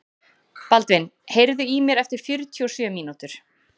Baldvin, heyrðu í mér eftir fjörutíu og sjö mínútur.